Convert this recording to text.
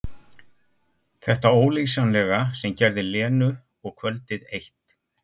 Þetta ólýsanlega sem gerði Lenu og kvöldið eitt.